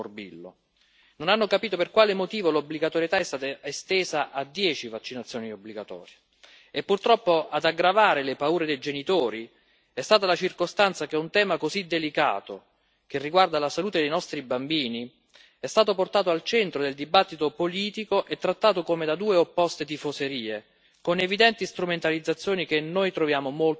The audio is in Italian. Non hanno capito per quale motivo l'obbligatorietà è stata estesa a dieci vaccinazioni obbligatorie e, purtroppo, ad aggravare le paure dei genitori è stata la circostanza che un tema così delicato, che riguarda la salute dei nostri bambini, è stato portato al centro del dibattito politico e trattato come da due opposte tifoserie, con evidenti strumentalizzazioni che noi troviamo molto pericolose.